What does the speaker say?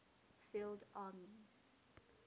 field armies